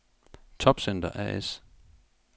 Topcenter A/S